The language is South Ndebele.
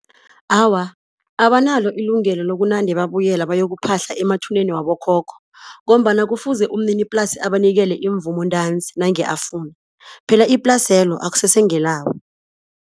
Awa, abanalo ilungelo lokunande babuyela bayokuphahla emathuneni wabokhokho ngombana kufuze umniniplasi abanikele imvumo ntanzi nange afuna phela iplasi lelo akusesengelabo.